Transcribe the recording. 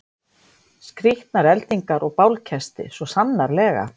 Skrýtnar eldingar og bálkesti, svo sannarlega.